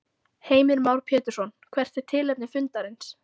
Heimir Már Pétursson: Hvert er tilefni fundarins?